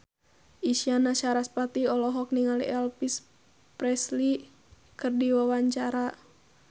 Isyana Sarasvati olohok ningali Elvis Presley keur diwawancara